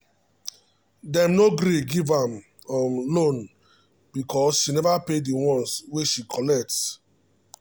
them no gree give am um loan because she never pay the ones wey she collect. um